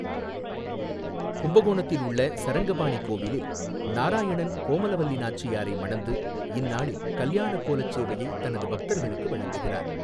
கும்பகோணத்தில் உள்ள சரங்கபாணி கோவிலில், நாராயணன் கோமலவல்லி நாச்சியாரை மணந்து, இந்நாளில் கல்யாண கோலச் சேவையை தனது பக்தர்களுக்கு வழங்குகிறார்.